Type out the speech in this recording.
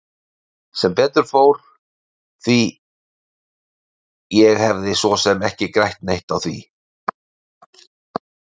Sem betur fór því ég hefði svo sem ekki grætt neitt á því.